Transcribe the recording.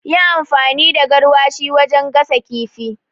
Yi amfani garwashi wajen gasa kifin